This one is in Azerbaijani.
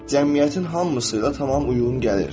Cəmiyyətin hamısı ilə tam uyğun gəlir.